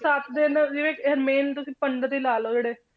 ਸੱਤ ਦਿਨ ਜਿਹੜੇ ਇਹ main ਤੁਸੀਂ ਪੰਡਿਤ ਹੀ ਲਾ ਲਓ ਜਿਹੜੇ